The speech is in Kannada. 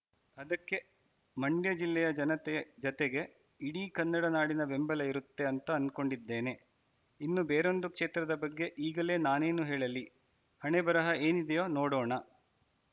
ಅದಕ್ಕೆ ಮಂಡ್ಯ ಜಿಲ್ಲೆಯ ಜನತೆಯ ಜತೆಗೆ ಇಡೀ ಕನ್ನಡ ನಾಡಿನ ಬೆಂಬಲ ಇರುತ್ತೆ ಅಂತ ಅನ್ಕೊಂಡಿದ್ದೇನೆ ಇನ್ನು ಬೇರೊಂದು ಕ್ಷೇತ್ರದ ಬಗ್ಗೆ ಈಗಲೇ ನಾನೇನು ಹೇಳಲಿ ಹಣೆಬರಹ ಏನೀದೆಯೋ ನೋಡೋಣ